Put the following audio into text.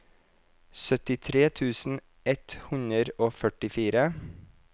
syttitre tusen ett hundre og førtifire